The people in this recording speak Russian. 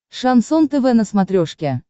шансон тв на смотрешке